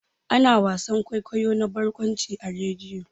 Ana wasan kwaikwayo na barkwanci a rediyo.